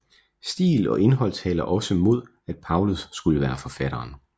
Stil og indhold taler også mod at Paulus skulle være forfatteren